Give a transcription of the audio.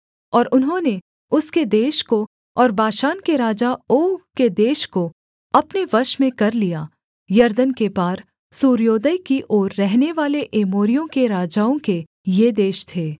और उन्होंने उसके देश को और बाशान के राजा ओग के देश को अपने वश में कर लिया यरदन के पार सूर्योदय की ओर रहनेवाले एमोरियों के राजाओं के ये देश थे